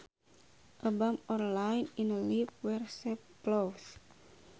A bump or line in a leaf where sap flows